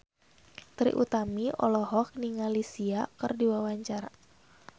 Trie Utami olohok ningali Sia keur diwawancara